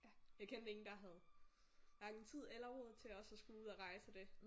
Jeg kendte ingen der havde hverken tid eller råd til også at skulle ud og rejse og det